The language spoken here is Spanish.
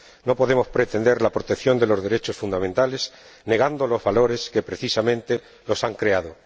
No podemos pretender la protección de los derechos fundamentales negando los valores que, precisamente, los han creado.